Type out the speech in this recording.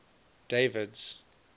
david's